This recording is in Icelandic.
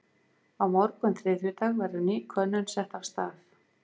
Á morgun þriðjudag verður ný könnun sett af stað.